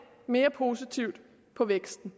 mere positivt på væksten